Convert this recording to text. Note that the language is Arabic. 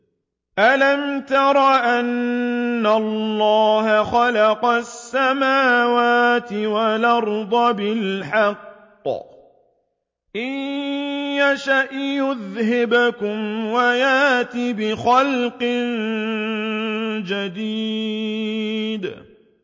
أَلَمْ تَرَ أَنَّ اللَّهَ خَلَقَ السَّمَاوَاتِ وَالْأَرْضَ بِالْحَقِّ ۚ إِن يَشَأْ يُذْهِبْكُمْ وَيَأْتِ بِخَلْقٍ جَدِيدٍ